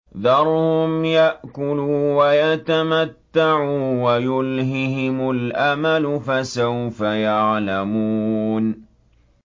ذَرْهُمْ يَأْكُلُوا وَيَتَمَتَّعُوا وَيُلْهِهِمُ الْأَمَلُ ۖ فَسَوْفَ يَعْلَمُونَ